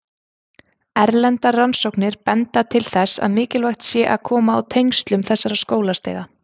Erlendar rannsóknir benda til þess að mikilvægt sé að koma á tengslum þessara skólastiga.